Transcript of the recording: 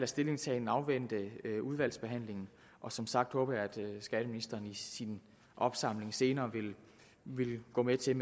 stillingtagen afvente udvalgsbehandlingen som sagt håber jeg at skatteministeren i sin opsamling senere vil gå med til at